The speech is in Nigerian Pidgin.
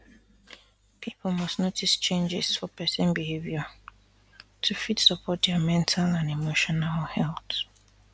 people must notice changes for person behavior to fit support dia mental and emotional health